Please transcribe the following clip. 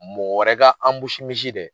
Mɔgɔ wɛrɛ ka misi dɛ